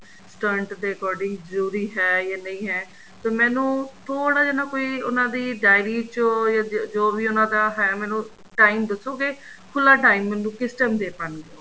stunt ਦੇ according ਜੋ ਵੀ ਹੈ ਜਾਂ ਨਹੀਂ ਹੈ ਤੇ ਮੈਂਨੂੰ ਥੋੜਾ ਜਾ ਨਾ ਕੋਈ ਉਹਨਾ ਦੀ dairy ਚੋਂ ਜੋ ਵੀ ਉਹਨਾ ਦਾ ਹੈ ਮੇਨੂੰ time ਦੱਸੋਗੇ ਖੁੱਲਾ time ਮੈਂਨੂੰ ਕਿਸ time ਦੇ ਪਾਣਗੇ ਉਹ